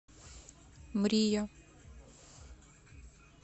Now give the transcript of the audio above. мрия